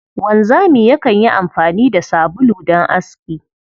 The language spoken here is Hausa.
Wanzami yakan yi amfani da sabulu don aski.